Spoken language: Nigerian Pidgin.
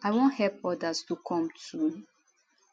i wan help odas to come too